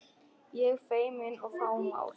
Ég feimin og fámál.